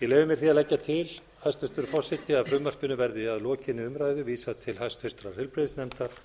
ég leyfi mér því að leggja til hæstvirtur forseti að frumvarpinu verði að lokinni umræðu vísað til hæstvirtrar heilbrigðisnefndar